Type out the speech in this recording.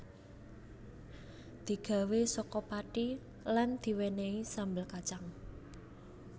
Digawé saka pati lan diwenehi sambel kacang